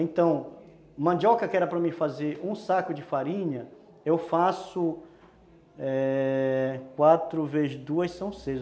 Então, mandioca que era para mim fazer um saco de farinha, eu faço, é... quatro vezes duas são seis.